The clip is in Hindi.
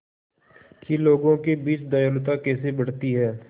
कि लोगों के बीच दयालुता कैसे बढ़ती है